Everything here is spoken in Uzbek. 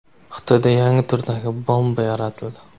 Xitoyda yangi turdagi bomba yaratildi.